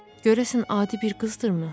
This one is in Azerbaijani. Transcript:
Görəsən adi bir qızdırmı?